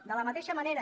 de la mateixa manera